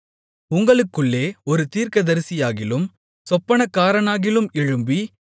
உங்களுக்குள்ளே ஒரு தீர்க்கதரிசியாகிலும் சொப்பனக்காரனாகிலும் எழும்பி